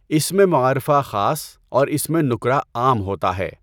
اسمِ معرفہ خاص اور اسمِ نکره عام ہوتا ہے۔